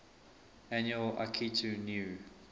annual akitu new